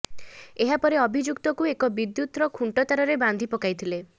ଏହା ପରେ ଅଭିଯୁକ୍ତକୁ ଏକ ବିଦୁ୍ୟତ ଖୁଣ୍ଟ ତାରରେ ବାନ୍ଧି ପକାଇଥିଲେ